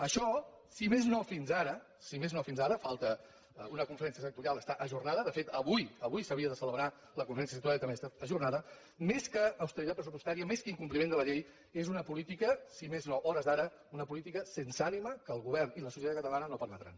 això si més no fins ara falta una conferència sectorial està ajornada de fet avui s’havia de celebrar la conferència sectorial i també ha estat ajornada més que austeritat pressupostària més que incompliment de la llei és una política si més no a hores d’ara sense ànima que el govern i la societat catalana no permetran